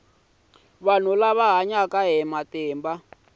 vanhu lava hanyaka na hiv